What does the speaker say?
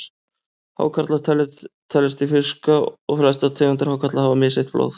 Hákarlar teljast til fiska og flestar tegundir hákarla hafa misheitt blóð.